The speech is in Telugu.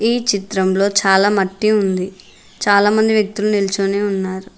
ఈ చిత్రంలో చాలా మట్టి ఉంది చాలా మంది వ్యక్తులు నిల్చొని ఉన్నారు.